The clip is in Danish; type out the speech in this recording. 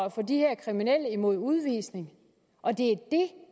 af de her kriminelle mod udvisning og det